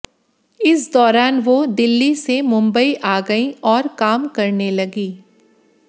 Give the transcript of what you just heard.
इस दौरान वो दिल्ली से मुंबई आ गईं और काम करने लगीं